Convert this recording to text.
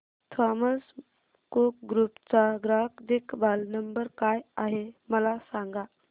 Thomas Cook group चा ग्राहक देखभाल नंबर काय आहे मला सांगा